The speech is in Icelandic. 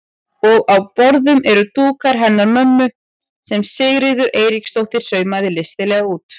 Og á borðum eru dúkarnir hennar mömmu sem Sigríður Eiríksdóttir saumaði listilega út.